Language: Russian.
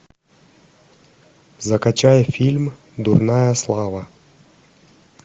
закачай фильм дурная слава